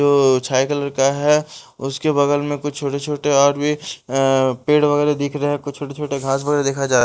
जो छाया कलर का है उसके बगल में कुछ छोटे छोटे और भी पेड़ वगैरह दिख रहे हैं कुछ छोटे छोटे घास वगैरह देखे जा --